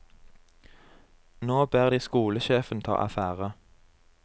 Nå ber de skolesjefen ta affære.